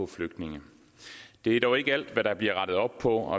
flygtninge det er dog ikke alt der bliver rettet op på